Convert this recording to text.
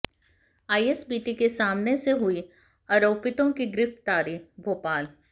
ISBT के सामने से हुई आरोपितों की गिरफ्तारी भोपाल